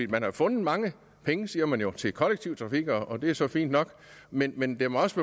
man har fundet mange penge siger man jo til kollektiv trafik og det er så fint nok men men det må også